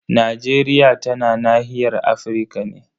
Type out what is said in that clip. Najeriya tana nahiyar Afirka ne.